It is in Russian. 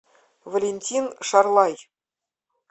валентин шарлай